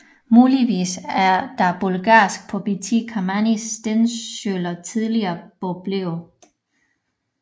Muligvis er de bulgarske Pobiti Kamani stensøjler tidligere boblerev